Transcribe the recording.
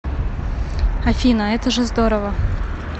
афина это же здорово